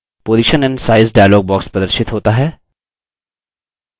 position and size dialog प्रदर्शित होता है